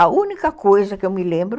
A única coisa que eu me lembro